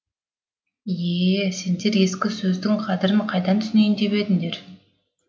ие ее сендер ескі сөздің қадірін қайдан түсінейін деп едіңдер